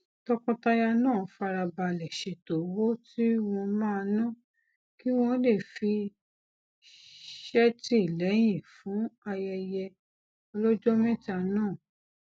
tọkọtaya náà fara balè ṣètò owó tí wón máa ná kí wón lè fi ṣètìlẹyìn fún ayẹyẹ ọlójó méta náà